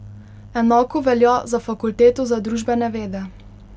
Enako velja za fakulteto za družbene vede.